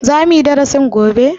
Za muyi darasin gobe?